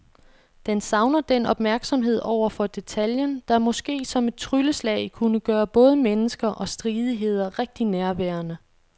Den savner den opmærksomhed over for detaljen, der måske som et trylleslag kunne gøre både mennesker og stridigheder rigtig nærværende.